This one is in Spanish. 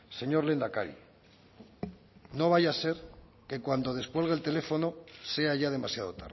señor lehendakari no vaya a ser que cuando descuelgue el teléfono sea ya demasiado